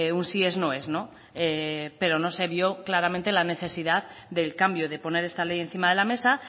un sí es no es no pero no se vio claramente la necesidad del cambio de poner esta ley encima de la mesa